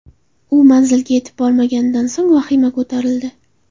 U manzilga yetib bormaganidan so‘ng vahima ko‘tarildi.